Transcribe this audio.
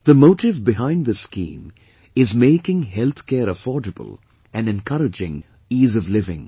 The motive behind this scheme is making healthcare affordable and encouraging Ease of Living